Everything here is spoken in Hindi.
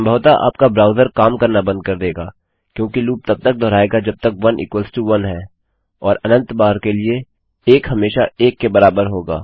संभवतः आपका ब्राउज़र काम करना बंद कर देगा क्योंकि लूप तब तक दोहराएगा जब तक 11 और अनंत बार के लिए 1 हमेशा 1 के बराबर होगा